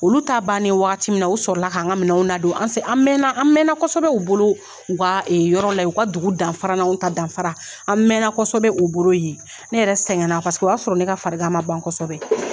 Olu t'a bannen waati min u sɔrɔla k'an ka minɛnw ladon an an mɛɛnna kosɛbɛ u bolo u ka yɔrɔ la u ka dugu danfara n'anw ta danfara an mɛɛnna kosɛbɛ u bolo yen ne yɛrɛ sɛgɛnna o y'a sɔrɔ ne ka farigan ma ban kosɛbɛ kosɛbɛ